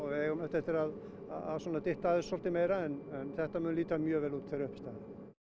við eigum eftir að dytta að þessu svolítið meira en þetta mun líta mjög vel út þegar upp er staðið